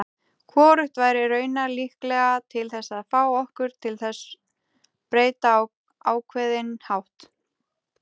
Hvorugt væri raunar líklega til þess að fá okkur til þess breyta á ákveðinn hátt.